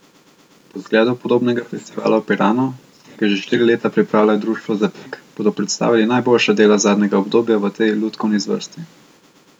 Po zgledu podobnega festivala v Piranu, ki ga že štiri leta pripravlja Društvo Zapik, bodo predstavili najboljša dela zadnjega obdobja v tej lutkovni zvrsti.